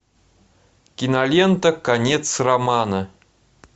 кинолента конец романа